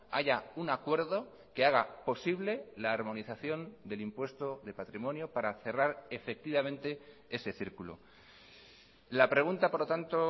haya un acuerdo que haga posible la armonización del impuesto de patrimonio para cerrar efectivamente ese círculo la pregunta por lo tanto